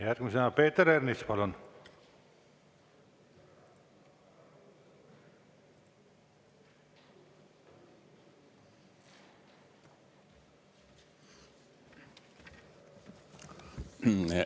Järgmisena Peeter Ernits, palun!